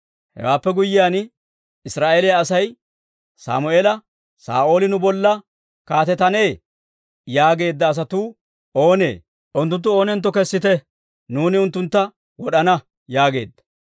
Hewaappe guyyiyaan, Israa'eeliyaa Asay Sammeela, «Saa'ooli nu bolla kaatetannee? yaageedda asatuu oonee? Unttunttu oonentto kessite; nuuni unttuntta wod'ana» yaageedda.